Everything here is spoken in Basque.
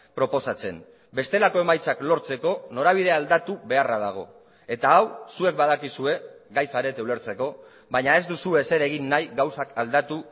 proposatzen bestelako emaitzak lortzeko norabidea aldatu beharra dago eta hau zuek badakizue gai zarete ulertzeko baina ez duzue ezer egin nahi gauzak aldatu